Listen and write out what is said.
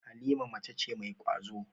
Halima mace ce mai ƙwazo.